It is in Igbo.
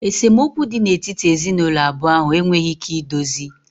Esemokwu dị n'etiti ezinụlọ abụọ ahụ enweghị ike idozi